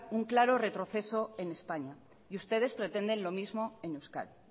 un claro retroceso en españa y ustedes pretenden lo mismo en euskadi